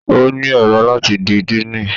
O ni èrò láti di Diini